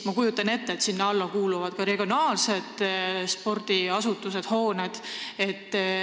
Ma kujutan ette, et sinna alla kuuluvad ka regionaalsed spordiasutused ja -hooned.